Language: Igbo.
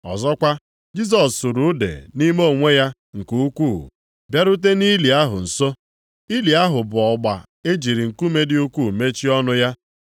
Ọzọkwa, Jisọs sụrụ ude nʼime onwe ya nke ukwuu, bịarute nʼili ahụ nso. Ili ahụ bụ ọgba e jiri nkume dị ukwuu mechie ọnụ ya.